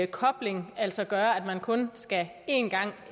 kobling altså gøre at man kun skal ind én gang